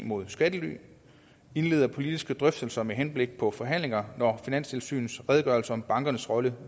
mod skattely og indleder politiske drøftelser med henblik på forhandlinger når finanstilsynets redegørelse om bankernes rolle